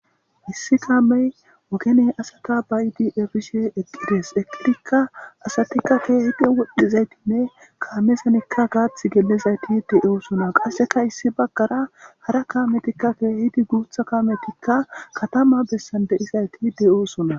issi kaamey ogen asatabayidi efishe eqqides.asati eqqidikka asati keehidi woxxishe kaamezan gaathi gelizayti doosona.qasseka harahabaggara daro kaametikka guitha kaametika beettishe deettes.